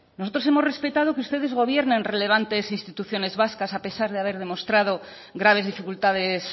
nosotros hemos respetado que ustedes gobiernen relevantes instituciones vascas a pesar de haber demostrado graves dificultades